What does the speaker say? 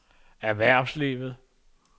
erhvervslivet